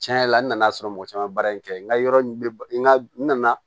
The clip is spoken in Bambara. Tiɲɛ yɛrɛ la n nana sɔrɔ mɔgɔ caman bɛ baara in kɛ n ka yɔrɔ bɛ n ka n nana